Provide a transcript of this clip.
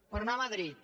per anar a madrid